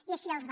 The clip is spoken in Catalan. i així els va